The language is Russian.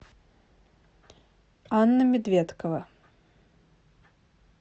анна медведкова